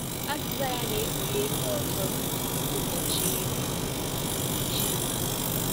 Azịza ya na-ekpughe ihe ọzọ yiri ụbọchị Chima.